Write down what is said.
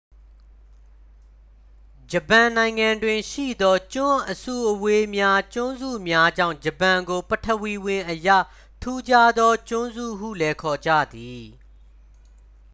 "ဂျပန်နိုင်ငံတွင် ရှိသော ကျွန်းအစုအဝေးများ/ကျွန်းစုများကြောင့် ဂျပန်ကို ပထဝီဝင်အရ ထူးခြားသော "ကျွန်းစု" ဟုလည်း ခေါ်ကြသည်။